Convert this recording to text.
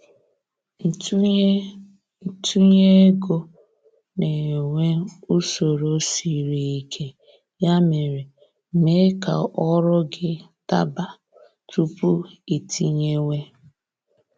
Ntunye Ntunye ego na-enwe usoro sịrị ike, ya mere, mee ka ọrụ gị daba tupu iitinyewe